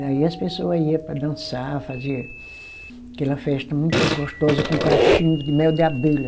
Daí as pessoa ia para dançar, fazer aquela festa muito gostosa com cachinho de mel de abelha.